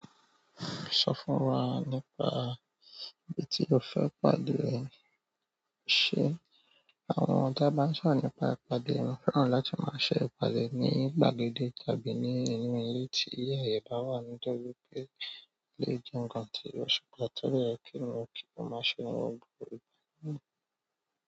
Sọ fún wa nípa bí tí o fẹ́ pàdé rẹ, ṣe àwọn tá bá ń sọ̀rọ̀ nípa ìpàdé, mo fẹ́ràn láti máa ṣe ìpàdé ní gbàgede tàbí ní inú ilé tí ààyè bá wà to jẹ wipé, o le jẹ́ ǹnkan tí ó ṣe pàtàkì to dẹ yẹ ki ènìyàn ki o maa se.